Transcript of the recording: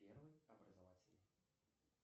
первый образовательный